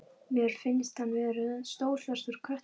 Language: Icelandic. Mér finnst hann vera stór svartur köttur.